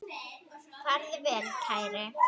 Farðu vel, kæri.